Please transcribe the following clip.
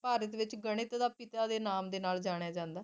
ਭਾਰਤ ਦੇ ਵਿਚ ਗਾਨਿਥ ਦੇ ਪਿਤਾ ਦੇ ਨਾਮ ਨਾਲ ਜਾਣਿਆ ਜਾਂਦਾ ਹੈ